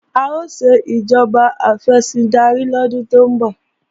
A ó ṣe ìjọba afẹ̀sìndarí lọ́dún tó ń bọ̀